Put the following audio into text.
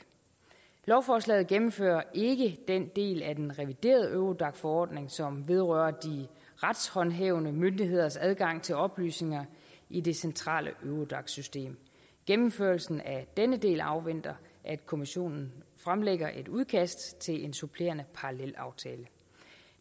lovforslaget gennemfører ikke den del af den reviderede eurodac forordning som vedrører de retshåndhævende myndigheders adgang til oplysninger i det centrale eurodac system gennemførelsen af denne del afventer at kommissionen fremlægger et udkast til en supplerende parallelaftale